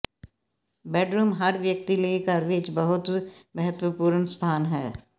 bedroom ਹਰ ਵਿਅਕਤੀ ਲਈ ਘਰ ਵਿੱਚ ਬਹੁਤ ਮਹੱਤਵਪੂਰਨ ਸਥਾਨ ਹੈ